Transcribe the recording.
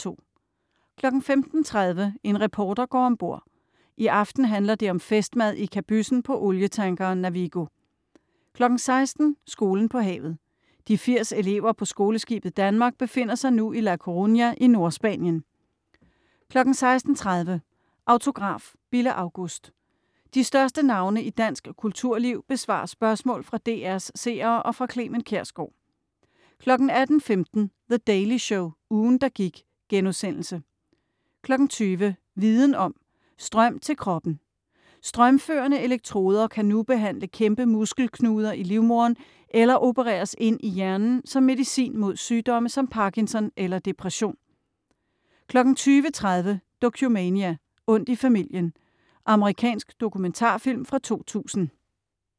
15.30 En reporter går om bord. I aften handler det om festmad i kabyssen på olietankeren Navigo 16.00 Skolen på havet. De 80 elever på Skoleskibet Danmark befinder sig nu i La Coruña i Nordspanien 16.30 Autograf: Bille August De største navne i dansk kulturliv besvarer spørgsmål fra DR's seere og fra Clement Kjersgaard 18.15 The Daily Show - ugen, der gik* 20.00 Viden om: Strøm til kroppen. Strømførende elektroder kan nu behandle kæmpe muskelknuder i livmoderen eller opereres ind i hjernen som medicin mod sygdomme som Parkinson eller depression 20.30 Dokumania: Ondt i familien. Amerikansk dokumentarfilm fra 2000